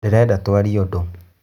Ndĩreda twarie ũdũ